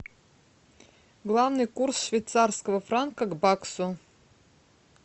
главный курс швейцарского франка к баксу